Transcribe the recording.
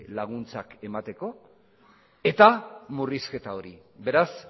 laguntzak emateko eta murrizketa hori beraz